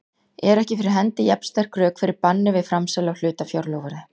eru ekki fyrir hendi jafn sterk rök fyrir banni við framsali á hlutafjárloforði.